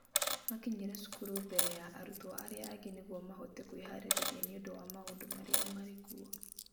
Maakinyire cukuru mbere ya arutwo arĩa angĩ nĩguo mahote kwĩhaarĩria nĩ ũndũ wa maũndũ marĩa maarĩ kuo.